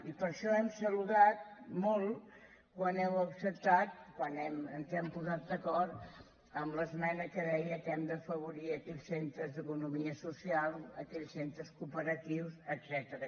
i per això hem saludat molt quan heu acceptat quan ens hem posat d’acord en l’esmena que deia que hem d’afavorir aquells centres d’economia social aquells centres cooperatius etcètera